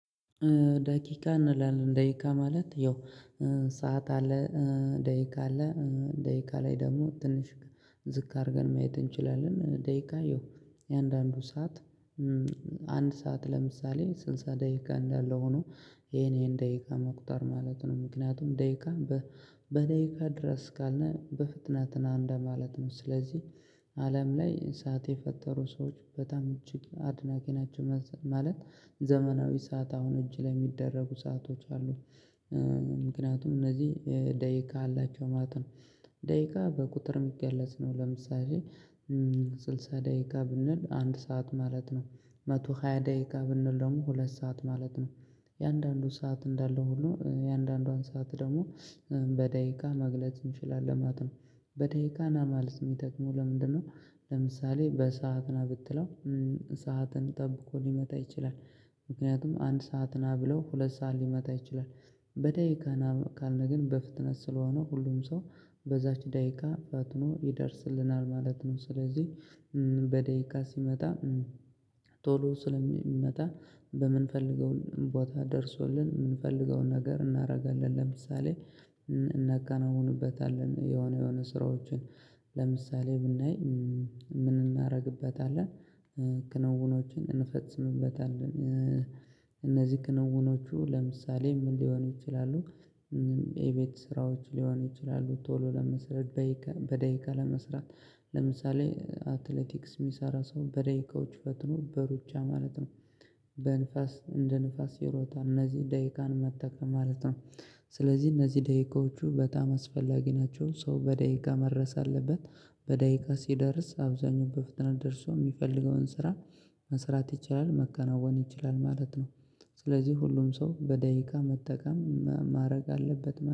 ደቂቃ እንላለን ደቂቃ ማለት ያው ሰዓት አለ ደቂቃ አለ ደቂቃ ላይ ደግሞ ትንሽ ዝቅ አድርገን ማየት እንችላለን። ደቂቃ ያው እንዳንዱ ሰዓት አንድ ሰዓት ለምሳሌ ስልሳ ደቂቃ እንዳለው ሆኖ ይሄን ይሄን ደቂቃ መቁጠር ማለት ነው። ምክንያቱም ደቂቃ በደቂቃ ድረስ ካልን በፍጥነት ና እንደማለት ነው። ስለዚህ አለም ላይ ሰዓት የፈጠሩ ሰዎች በጣም እጅግ አድናቂ ናቸው። ማለት ዘመናዊ ሰዓት አሁን እጅ ላይ የሚደረጉ ሰአቶች አሉ። ምክንያቱም እነዚህ ደቂቃ አላቸው ማለት ነው። ደቂቃ በቁጥር የሚገለጽ ነው ለምሳሌ ስልሳ ደቂቃ ብንል አንድ ሰዓት ማለት ነው። መቶ ሃያ ደቂቃ ብንል ደግሞ ሁለት ሰዓት ማለት ነው። አንዳንዱ ሰዓት እንዳለ ሆኖ እንዳንዷን ሰዓት ደግሞ በደቂቃ መግለጽ እንችላለን ማለት ነው። በደቂቃ ና ማለት የሚጠቅመው ለምንድነው? ለምሳሌ በሰአት ና ብትለው ሰዓትን ጠብቆ ሊመጣ ይችላል። ምክንያቱም አንድ ሰዓት ነህ ብለው ሁለት ሰዓት ሊመጣ ይችላል። በደቂቃ ና ካልን ግን በፍጥነት ስለሆነው ሁሉም ሰው በዛች ደቂቃ ፈጥኖ ይደርስልናል ማለት ነው። ስለዚህ በደቂቃ ሲመጣ ቶሎ ስለሚመጣ በምንፈልገው ቦታ ደርሶልን የምንፈልገውን ነገር እናደርጋለን። ለምሳሌ እናከናውንበታለን። የሆነ የሆነ ስራዎችን ለምሳሌ ብናይ ምን እናደርግበታለን? ክንውኖችን እንፈጽምበታለን። እነዚህ ክንውኖቹ ለምሳሌ ምን ሊሆኑ ይችላሉ? የቤት ስራዎች ሊሆኑ ይችላሉ ቶሎ ለመስራት በደቂቃ ለመስራት ለምሳሌ አትሌቲክስ የሚሰራ ሰው በደቂቃዎች ፈጥኖ በሩጫ ማለት ነው። በንፋስ እንደ ንፋስ ይሮጣል እነዚህ ደቂቃን መጠቀም ማለት ነው። ስለዚህ እነዚህ ደቂቃዎቹ በጣም አስፈላጊ ናቸው። ሰው በደቂቃ መድረስ አለበት። በደቂቃ ሲደርስ አብዛኛው በፍጥነት ደርሶ የሚፈልገውን ስራ መስራት ይችላል መከናወን ይችላል ማለት ነው። ስለዚህ ሁሉም ሰው በደቂቃ መጠቀም ማድረግ አለበት